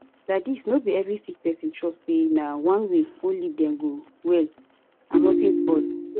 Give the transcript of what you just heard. laidis no be every sick pesin trust say na one way only dem go well and notin spoil